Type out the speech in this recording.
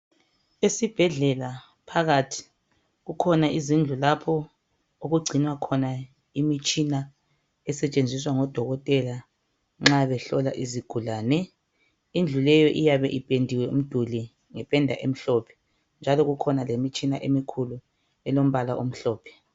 Esibhedlela phakathi kukhona izindlu lapho okugcinwa khona imitshina esetshenziswa ngo dokotela nxa behlola izigulane. Indlu leyo iyabe ipendiwe umduli ngependa emhlophe njalo kukhona lemitshina emkhulu elombala omhlophe.